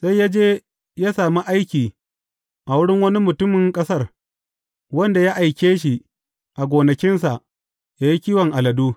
Sai ya je ya sami aiki a wurin wani mutumin ƙasar, wanda ya aike shi a gonakinsa, ya yi kiwon aladu.